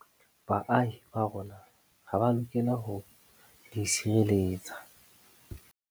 Baahi ba rona ha ba lokela ho di sireletsa.